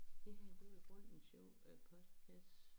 Det her det var godt en sjov øh postkasse